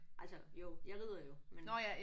Altså jo. Jeg rider jo men